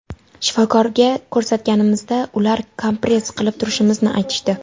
Shifokorga ko‘rsatganimizda ular kompress qilib turishimizni aytishdi.